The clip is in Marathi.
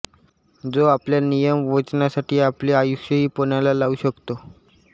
जो आपल्या नियम वचनांसाठी आपले आयुष्यही पणाला लावू शकतो